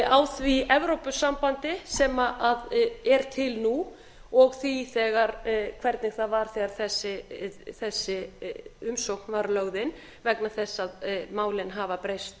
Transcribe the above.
á því evrópusambandi sem er til nú og því hvernig það var þegar þessi umsókn var lögð inn vegna þess að málin hafa breyst